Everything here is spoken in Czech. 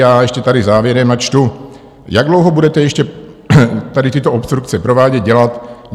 A ještě tady závěrem načtu: "Jak dlouho budete ještě tady tyto obstrukce provádět, dělat?"